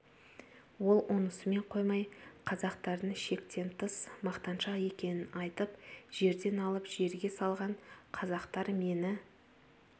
ол онысымен қоймай қазақтардың шектен тыс мақтаншақ екенін айтып жерден алып жерге салған қазақтар мені